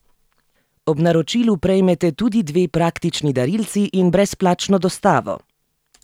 Ob naročilu prejmete tudi dve praktični darilci in brezplačno dostavo!